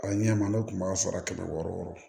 A ɲɛ ma ne kun b'a sara kɛmɛ wɔɔrɔ wɔɔrɔ